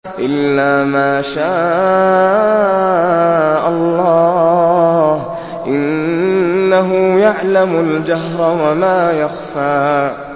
إِلَّا مَا شَاءَ اللَّهُ ۚ إِنَّهُ يَعْلَمُ الْجَهْرَ وَمَا يَخْفَىٰ